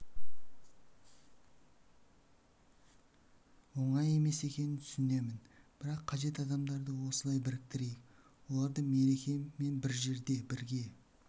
оңай емес екенін түсінемін бірақ қажет адамдарды осылай біріктірейік оларды мереке мен бір жерде бірге